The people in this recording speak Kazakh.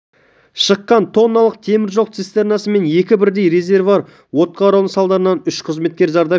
шыққан тонналық теміржол цистернасы мен екі бірдей резервуар отқа орануы салдарынан үш қызметкер зардап шекті